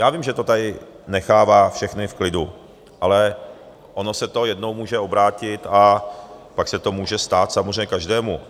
Já vím, že to tady nechává všechny v klidu, ale ono se to jednou může obrátit a pak se to může stát samozřejmě každému.